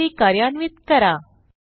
query कार्यान्वित करा